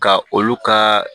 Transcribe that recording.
Ka olu ka